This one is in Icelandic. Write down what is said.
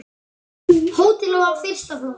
Hótelið var fyrsta flokks.